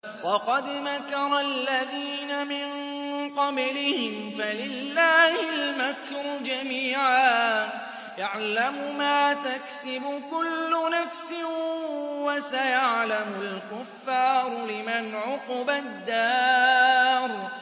وَقَدْ مَكَرَ الَّذِينَ مِن قَبْلِهِمْ فَلِلَّهِ الْمَكْرُ جَمِيعًا ۖ يَعْلَمُ مَا تَكْسِبُ كُلُّ نَفْسٍ ۗ وَسَيَعْلَمُ الْكُفَّارُ لِمَنْ عُقْبَى الدَّارِ